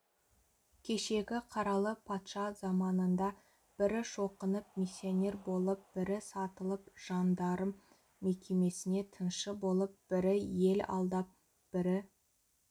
кешегі қаралы патша заманында бірі шоқынып миссионер болып бірі сатылып жандарм мекемесіне тыншы болып бірі ел алдап бірі